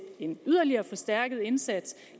en yderligere forstærket indsats